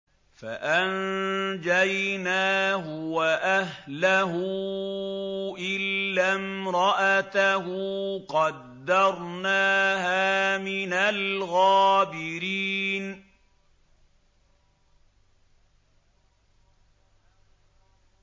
فَأَنجَيْنَاهُ وَأَهْلَهُ إِلَّا امْرَأَتَهُ قَدَّرْنَاهَا مِنَ الْغَابِرِينَ